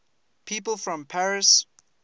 people from paris